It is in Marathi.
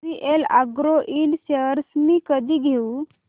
जेवीएल अॅग्रो इंड शेअर्स मी कधी घेऊ